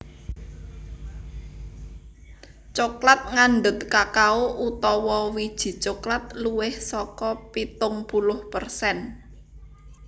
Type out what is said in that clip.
Coklat ngandhut kakao utawa wiji coklat luwih saka pitung puluh persen